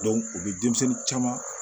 u bi denmisɛnnin caman